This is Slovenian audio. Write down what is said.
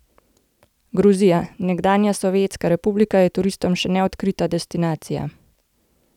Gruzija, nekdanja sovjetska republika, je turistom še neodkrita destinacija.